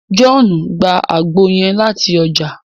Johnu gbà àgbo yẹn lati ọja